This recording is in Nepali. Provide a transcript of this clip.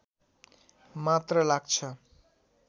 मात्र लाग्छ